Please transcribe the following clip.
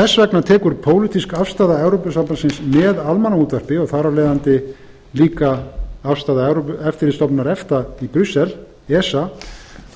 þess vegna tekur pólitísk afstaða evrópusambandsins með almannaútvarp og þar af leiðandi líka afstaða eftirlitsstofnunar efta í brussel esa